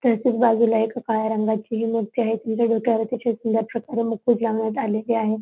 त्याच्याच बाजूला एक काळ्या रंगाची ही मूर्ती आहे तिच्या डोक्यावर अतिशय सुंदर छताचा मुकुट लावण्यात आलेले आहे.